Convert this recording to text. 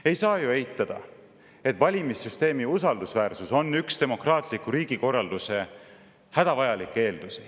Ei saa ju eitada, et valimissüsteemi usaldusväärsus on üks demokraatliku riigikorralduse hädavajalikke eeldusi.